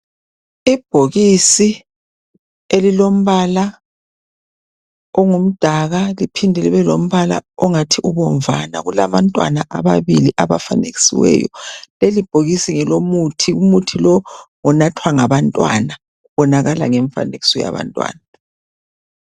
Ibhokisi elilombala ongumdaka kuphinde kube lombala ongathi umbovana kuphinde kubelabantwana abangathi bafanekisiwe lelibhokisi ngelo muthi ,umuthi lowu unathwa ngabantwana ubonakaliswa ngemfanekiso yabantwana